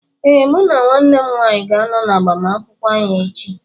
Ee, mụ na nwanne m nwanyị ga-ánọ na agbamakwụkwọ áhù echi